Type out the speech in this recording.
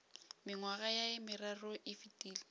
mengwaga ye meraro e fetile